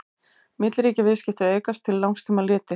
milliríkjaviðskipti aukast til langs tíma litið